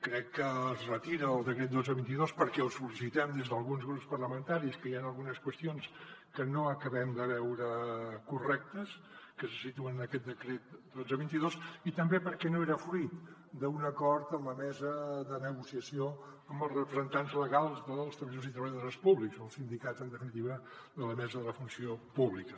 crec que es retira el decret dotze dos mil vint dos perquè ho sol·licitem des d’alguns grups parlamentaris que hi han algunes qüestions que no acabem de veure correctes que se situen en aquest decret dotze dos mil vint dos i també perquè no era fruit d’un acord en la mesa de negociació amb els representants legals dels treballadors i treballadores públics o els sindicats en definitiva de la mesa de la funció pública